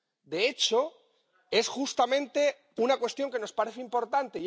De hecho, es justamente una cuestión que nos parece importante.